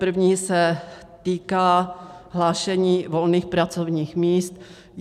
První se týká hlášení volných pracovních míst.